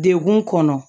Degun kɔnɔ